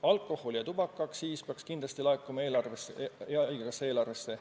Alkohol- ja tubakaaktsiis peaks kindlasti laekuma haigekassa eelarvesse.